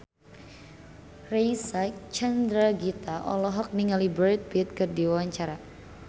Reysa Chandragitta olohok ningali Brad Pitt keur diwawancara